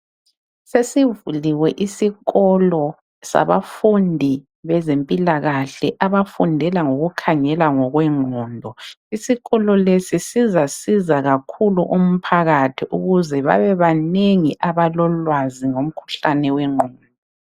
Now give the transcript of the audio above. Sesivuliwe isikolo sabafundi bezempilakahle abafundela ngokukhangela ngokwengqondo. Isikolo lesi sizasiza kakhulu umphakathi ukuze babe banengi abalolwazi ngomkhuhlane wengqondo.